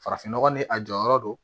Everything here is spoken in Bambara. Farafin nɔgɔ ni a jɔyɔrɔ do